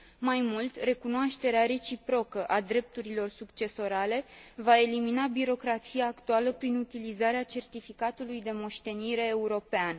Mai mult, recunoașterea reciprocă a drepturilor succesorale va elimina birocrația actuală, prin utilizarea certificatului de moștenire european.